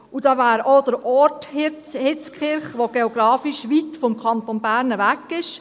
Da wäre noch der Ort Hitzkirch, welcher geografisch weit vom Kanton Bern weg liegt.